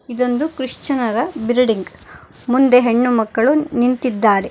ಇದೊಂದು ಕ್ರಿಷ್ಯನ್ ನರ ಬಿಲ್ಡಿಂಗ್ ಮುಂದೆ ಹೆಣ್ಣು ಮಕ್ಕಳು ನಿಂತಿದ್ದಾರೆ.